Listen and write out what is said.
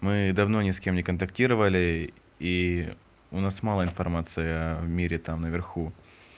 мы давно ни с кем не контактировали и у нас мало информация в мире там наверху